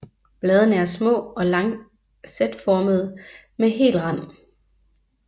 Bladene er små og lancetformede med hel rand